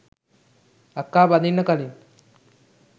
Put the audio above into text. අක්කා බඳින්න කලින්